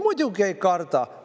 Muidugi ei karda!